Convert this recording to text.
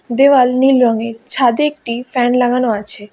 দেওয়াল নীল রঙের ছাদে একটি ফ্যান লাগানো আছে।